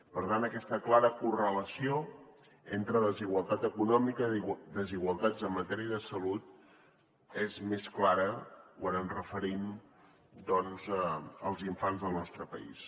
per tant aquesta clara correlació entre desigualtat econòmica desigualtats en matèria de salut és més clara quan ens referim doncs als infants del nostre país